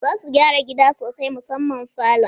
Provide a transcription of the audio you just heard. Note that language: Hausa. Za suyi gyara gida sosai musamman falon